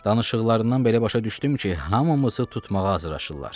Danışıqlarından belə başa düşdüm ki, hamımızı tutmağa hazırlaşırlar.